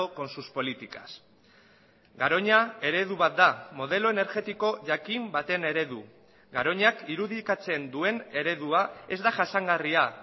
con sus políticas garoña eredu bat da modelo energetiko jakin baten eredu garoñak irudikatzen duen eredua ez da jasangarria